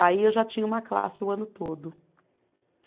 Aí eu já tinha uma classe o ano todo.